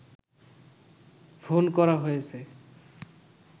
phone করা হয়েছে